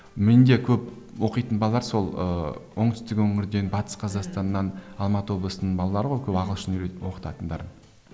менде көп оқитын балалар сол ыыы оңтүстік өңірден батыс қазақстаннан алматы облысының балалары ғой көп ағылшын оқытатындарым